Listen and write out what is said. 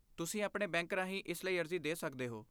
ਤੁਸੀਂ ਆਪਣੇ ਬੈਂਕ ਰਾਹੀਂ ਇਸ ਲਈ ਅਰਜ਼ੀ ਦੇ ਸਕਦੇ ਹੋ।